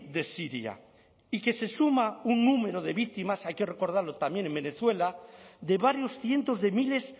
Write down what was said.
de siria y que se suma un número de víctimas hay que recordarlo también en venezuela de varios cientos de miles